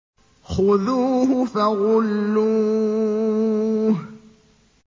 خُذُوهُ فَغُلُّوهُ